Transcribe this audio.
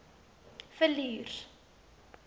villiers